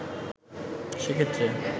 সে ক্ষেত্রে